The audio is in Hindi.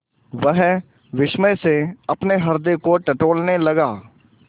वह विस्मय से अपने हृदय को टटोलने लगा